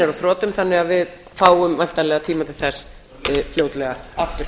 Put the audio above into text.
á þrotum þannig að við fáum væntanlega tíma til þess fljótlega aftur